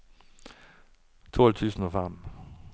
tolv tusen og fem